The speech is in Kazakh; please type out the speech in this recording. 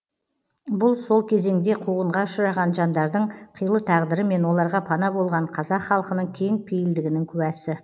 бұл сол кезеңде қуғынға ұшыраған жандардың қилы тағдыры мен оларға пана болған қазақ халқының кең пейілдігінің куәсі